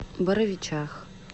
боровичах